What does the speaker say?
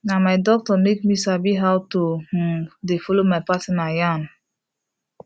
na my doctor make me sabi how to um de follow my partner yan